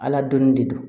Ala donni de don